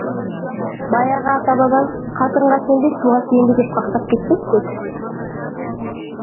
баяғы ата бабаң қатынға сенбе суға сүйенбе деп қақсап кетпеп пе еді